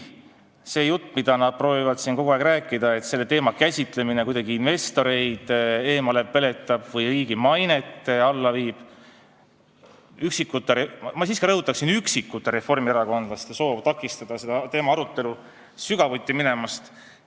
Probleem on see jutt, mida nad proovivad siin kogu aeg rääkida, et selle teema käsitlemine kuidagi investoreid eemale peletab või riigi mainet alla viib, ning üksikute reformierakondlaste, ma siiski rõhutan, et üksikute reformierakondlaste soov takistada selle teema arutelul sügavuti minemist.